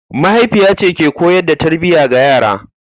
Mahaifiya ce ke koyar da tarbiyya ga 'ya'ya.